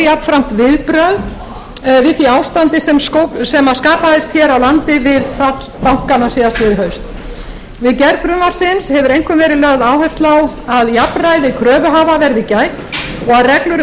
jafnframt viðbrögð við því ástandi sem skapaðist hér á landi við fall bankanna síðastliðið haust við gerð frumvarpsins hefur einkum verið lögð áhersla á að jafnræði kröfuhafa verði gætt og að reglur um